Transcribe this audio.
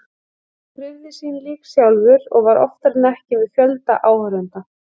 Hann krufði sín lík sjálfur og var oftar en ekki með fjölda áhorfenda.